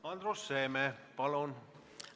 Andrus Seeme, palun!